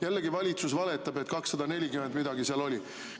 Jällegi valitsus valetab, et 240 midagi seal oli.